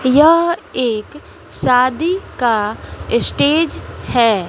यह एक शादी का स्टेज है।